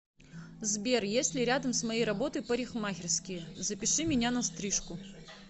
сбер есть ли рядом с моей работой парикмахерские запиши меня на стрижку